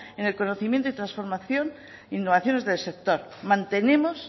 en el conocimiento y transformación innovaciones del sector mantenemos